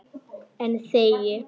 En þegi.